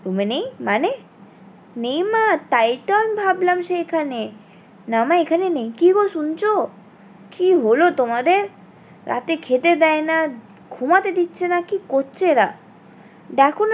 room এ নেই মানে? নেই মা তাই তো আমি ভাবালাম সে এখানে না মা এখানে নেই কি গো শুনছো কি হলো তোমাদের? রাতে খেতে দেয় না ঘুমাতে দিচ্ছে না কি করছে ওরা? দেখো